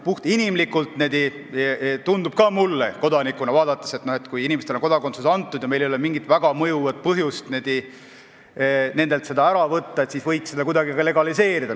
Puhtinimlikult ja kodanikuna vaadates tundub ka mulle, et kui inimestele on kodakondsus antud ja meil ei ole mingit väga mõjuvat põhjust nendelt seda ära võtta, siis võiks seda kuidagi ka legaliseerida.